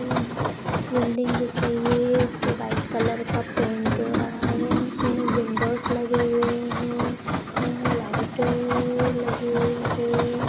building दिख रही है इसपे वाइट कलर का पेंट हो रहा है विंडोस लगे हुए हैं हैं लाइट अअअ लगी हुई हे |